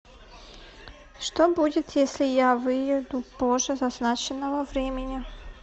что будет если я выйду позже назначенного времени